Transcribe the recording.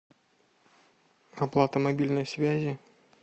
оплата мобильной связи